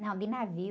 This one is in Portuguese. Não, de navio.